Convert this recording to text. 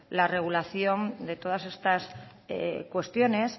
la regulación de todas estas cuestiones